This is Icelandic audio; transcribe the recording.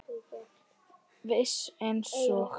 Vissu einsog